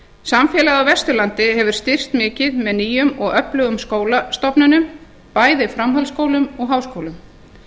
samfélag á vesturlandi hefur styrkst mikið með nýjum og öflugum skólastofnunum bæði framhaldsskólum og háskólum